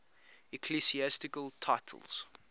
ecclesiastical titles